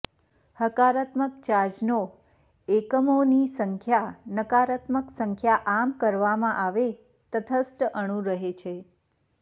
હકારાત્મક ચાર્જનો એકમોની સંખ્યા નકારાત્મક સંખ્યા આમ કરવામાં આવે તટસ્થ અણુ રહે છે